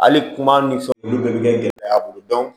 Hali kuma ni fɛnw olu bɛ kɛ gɛlɛya y'a bolo